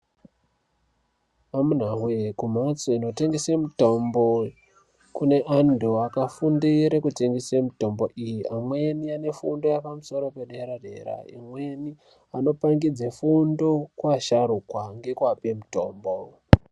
Amunawe kumhatso inotengese mitombo kune antu akafundire kutengesa mitombo iyi amweni anefunda yepamusoro yedera dera, imweni vanopangidze fundo kuasharukwa nekuape mutombo .